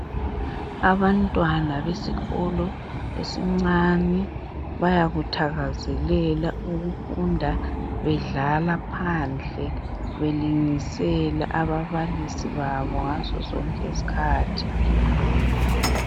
Abantwana besikolo esincane bayakuthakazelela ukufunda bedlala phandle belungisela ababalisi babo ngazo zonke izikhathi